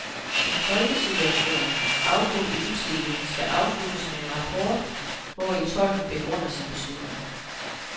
En tolkesituation afbrudt i utide skal afsluttes med en rapport, hvori tolken begrunder sin beslutning.